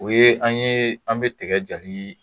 O ye an ye an bɛ tiga jali